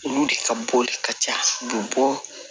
Olu de ka bɔli ka ca u bɛ bɔ